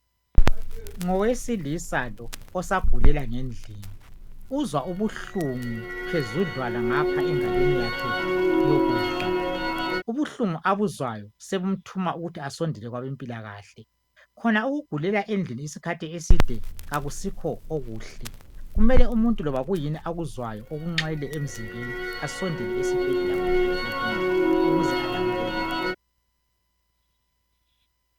Ngowesilisa lo osagulela ngendlini. Uzwa ubuhlungu phezudlwana ngapha engalweni yakhe yokudla. Ubuhlungu abuzwayo sobumthuma ukuthi asondele kwabèmpilakahle. Khona ukugulela endlini isikhathi eside akusikho okuhle. Kumele umuntu loba kuyini akuzwayo okunxele emzimbeni asondele esibhedlela loba ekilinika ukuze alamuleleke.